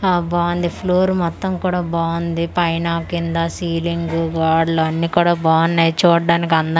ఆ బావుంది ఫ్లోర్ మొత్తం కుడ బావుంది పైన కింద సీలింగు గోడలు అన్నీ కూడా బావున్నాయి చూడ్డానికి అందం--